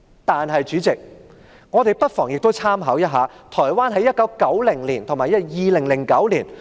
代理主席，我們亦不妨參考一下台灣在1990年和2009年的經驗。